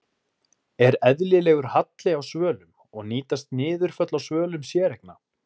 Er eðlilegur halli á svölum og nýtast niðurföll á svölum séreigna?